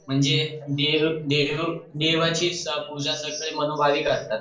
म्हणजे दीड देवाची पूजा ते मनोभावी करतात